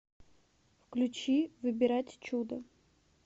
включи выбирать чудо